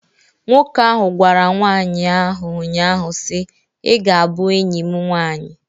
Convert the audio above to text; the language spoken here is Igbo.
Nwoke ahụ gwara nwanyị ahụ nnyaa si, "I ga a bụ enyi m nwanyi!"